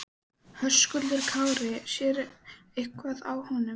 Höskuldur Kári: Sér eitthvað á honum?